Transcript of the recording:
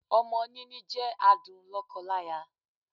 Ọmọ níní jẹ́ adùn lọ́kọ láya.